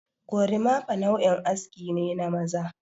Gorimafa nau'in aske ne na maza.